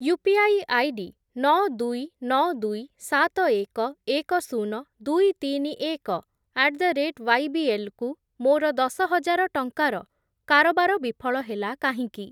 UPI ID ନଅ, ଦୁଇ, ନଅ, ଦୁଇ, ସାତ, ଏକ, ଏକ, ଶୂନ, ଦୁଇ, ତିନି, ଏକ ଆଟ୍ ଦ ରେଟ୍ ୱାଇବିଏଲ୍ କୁ ମୋର ଦଶହଜାର ଟଙ୍କାର କାରବାର ବିଫଳ ହେଲା କାହିଁକି?